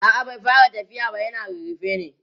a'a bai fara tafiya na yana rarrafe ne